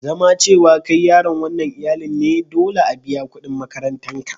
Zama cewa kai yaron wanan iyallin ne, dolle a biya kudin makarantan ka.